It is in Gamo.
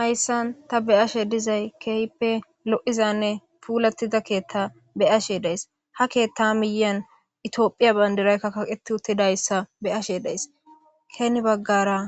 Hayssan ta be7ashe dizay keyppe lo7izanne puulatida keetta be7ashe days ha keetta miyan itiophiya bayndiraykka kaqet uttidayssa be7ashe days keeni baggara